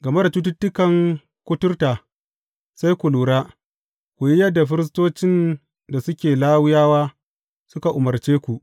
Game da cututtukan kuturta, sai ku lura, ku yi yadda firistocin da suke Lawiyawa suka umarce ku.